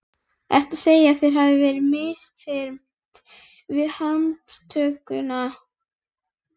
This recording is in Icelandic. Ertu að segja að þér hafi verið misþyrmt við handtökuna?